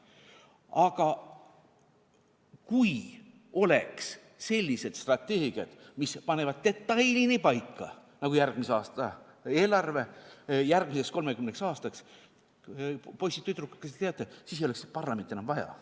Aga kui oleks sellised strateegiad, mis panevad detailini paika, nagu järgmise aasta eelarve, järgmised 30 aastat, siis, poisid-tüdrukud, kas te teate, ei oleks parlamenti enam vaja.